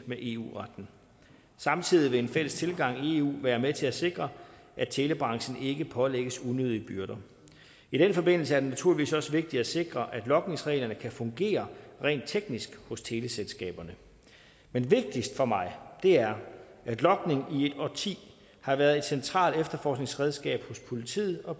med eu retten samtidig vil en fælles tilgang i eu være med til at sikre at telebranchen ikke pålægges unødige byrder i den forbindelse er det naturligvis også vigtigt at sikre at logningsreglerne kan fungere rent teknisk hos teleselskaberne men vigtigst for mig er at logning i et årti har været et centralt efterforskningsredskab hos politiet og